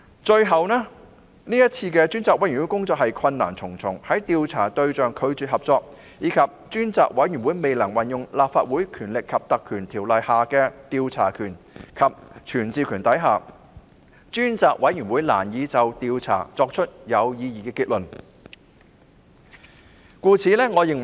最後，專責委員會的工作困難重重，由於調查對象拒絕合作，加上專責委員會未能運用《立法會條例》的調查權及傳召權，專責委員會難以作出有意義的調查結論。